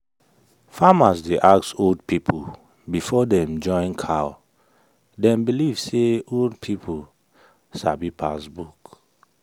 farmers dey ask old people before dem join cow dem believe say old people sabi pass book.